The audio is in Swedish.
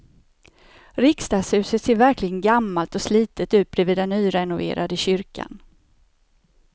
Riksdagshuset ser verkligen gammalt och slitet ut bredvid den nyrenoverade kyrkan.